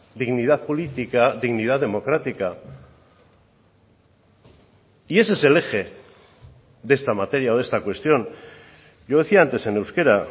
dignidad política dignidad democrática y ese es el eje de esta materia o de esta cuestión yo decía antes en euskera